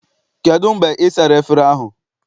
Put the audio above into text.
Kedụ mgbe ị sara efere ahụ?